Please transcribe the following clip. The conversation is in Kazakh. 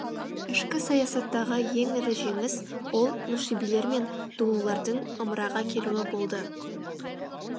ішкі саясаттағы ең ірі жеңіс ол нушибилер мен дулулардың ымыраға келуі болды